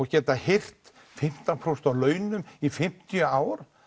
geta hirt fimmtán prósent af laununum í fimmtíu ár